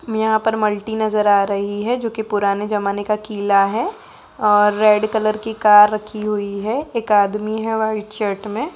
मे यहाँ पर मल्टी नजर आ रही है जोकि पुराने जमाने का किला है और रेड कलर की कार रखी हुई है। एक आदमी है व्हाइट शर्ट मे।